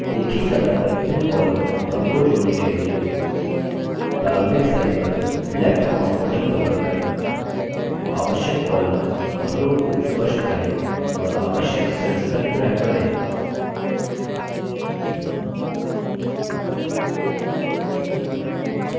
एक ही समय पर विभिन्न columns और rows जोड़ने के लिए प्रारंभिक cell पर left mouse button पकड़कर आवश्यक columns और rows को स्पष्ट करें और आवश्यक cell तक ड्रैग करें